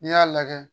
N'i y'a lajɛ